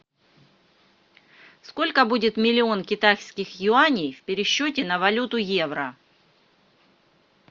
сколько будет миллион китайских юаней в пересчете на валюту евро